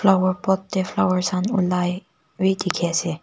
flower pot teh flowers khan ulai wii dikhi ase.